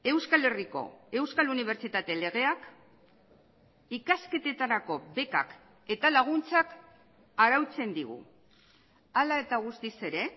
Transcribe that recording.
euskal herriko euskal unibertsitate legeak ikasketetarako bekak eta laguntzak arautzen digu hala eta guztiz ere